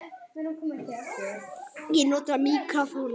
Hann varð að halda haus.